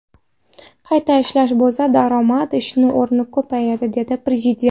Qayta ishlash bo‘lsa, daromad, ish o‘rni ko‘payadi, dedi Prezident.